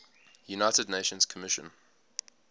united nations commission